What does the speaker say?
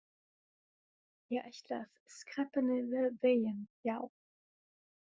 Ég ætla að skreppa niður vegginn, já.